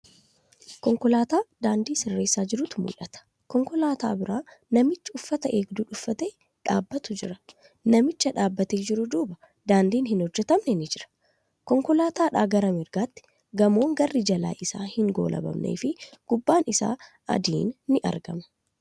Konkolaataa daandii sirreessaa jirutu mul'ata. Konkolaataa bira namichi uffata eegduu uuffatee dhaabatu jira. Namichi dhaabatee jiru duuba daandiin hin hojjatamne ni jira. Konkolaataadhaa gamarrattii gamoon garri jilaa isaa hin goolabamnefi gubbaan isaa adiin ni argama.